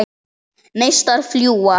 Neistar fljúga.